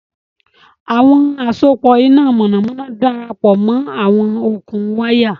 Àwọn àsopọ̀ iná mọ̀nàmọ́ná darapọ̀ mọ́ àwọn okùn wáyà